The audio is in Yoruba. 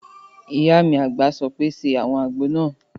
Ìyá mi àgbà sọ pé "ṣe àwọn àgbo náà!"